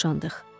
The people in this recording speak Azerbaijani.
Boşandıq.